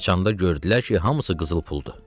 Açanda gördülər ki, hamısı qızıl puldur.